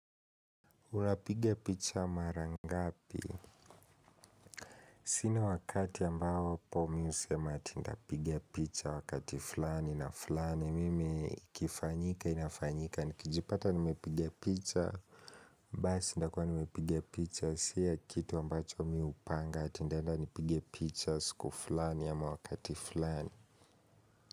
Unapiga picha mara ngapi? Sina wakati ambapo mi husema ati ndapigia picha wakati fulani na fulani, mimi ikifanyika inafanyika, nikijipata nimepiga picha, basi ndakua nimepiga picha, si ya kitu ambacho mi upanga ati ndaenda nipige picha siku fulani ama wakati fulani.